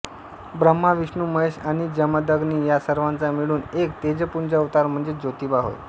ब्रह्मा विष्णू महेश आणि जमदग्नी या सर्वांचा मिळून एक तेजःपुंज अवतार म्हणजेच जोतिबा होय